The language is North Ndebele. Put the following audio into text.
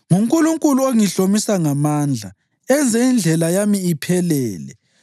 NguNkulunkulu ongihlomisa amandla enze indlela yami iphelele.